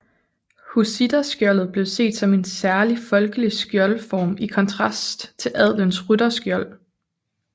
Hussitterskjoldet blev set som en særligt folkelig skjoldform i kontrast til adelens rytterskjold